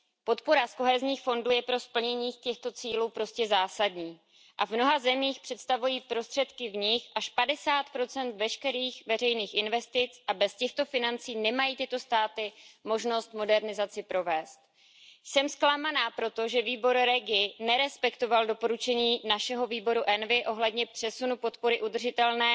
Podpora z kohezních fondů je pro splnění těchto cílů prostě zásadní a v mnoha zemích představují prostředky z nich až 50 veškerých veřejných investic a bez těchto financí nemají tyto státy možnost modernizace provést. Jsem zklamaná proto, že výbor REGI nerespektoval doporučení našeho výboru ENVI ohledně přesunu podpory udržitelné